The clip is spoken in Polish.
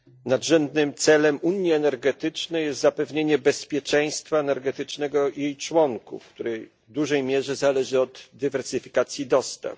Nadrzędnym celem unii energetycznej jest zapewnienie bezpieczeństwa energetycznego jej członkom, które w dużej mierze zależy od dywersyfikacji dostaw.